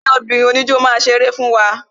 Ẹgbẹ́ obìnrin oníjó máa ṣeré fún wa